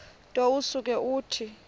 nto usuke uthi